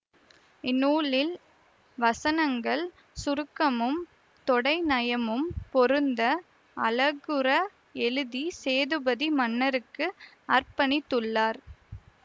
இந்நூலில் வசனங்கள் சுருக்கமும் தொடைநயமும் பொருந்த அழகுற எழுதி சேதுபதி மன்னருக்கு அர்ப்பணித்துள்ளார்